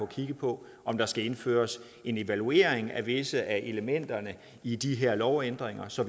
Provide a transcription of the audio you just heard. kigget på om der skal indføres en evaluering af visse af elementerne i de her lovændringer så